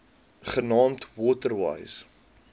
genaamd water wise